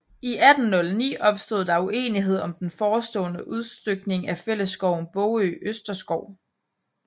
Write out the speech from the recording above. I 1809 opstod der uenighed om den forestående udstykning af fællesskoven Bogø Østerskov